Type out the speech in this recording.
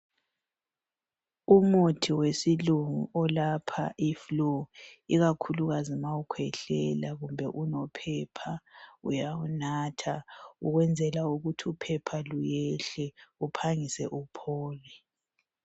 Umuthi wesilungu olapha iflu ikakhulukazi nxa ukhwehlela kumbe unophepha uyawunatha ukwenzela ukuthi uphepha luyehle uphangise uphole.